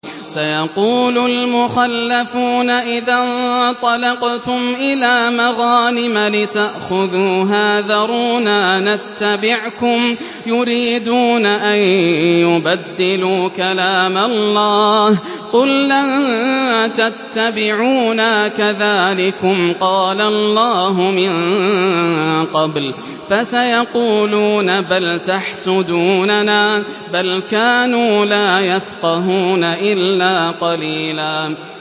سَيَقُولُ الْمُخَلَّفُونَ إِذَا انطَلَقْتُمْ إِلَىٰ مَغَانِمَ لِتَأْخُذُوهَا ذَرُونَا نَتَّبِعْكُمْ ۖ يُرِيدُونَ أَن يُبَدِّلُوا كَلَامَ اللَّهِ ۚ قُل لَّن تَتَّبِعُونَا كَذَٰلِكُمْ قَالَ اللَّهُ مِن قَبْلُ ۖ فَسَيَقُولُونَ بَلْ تَحْسُدُونَنَا ۚ بَلْ كَانُوا لَا يَفْقَهُونَ إِلَّا قَلِيلًا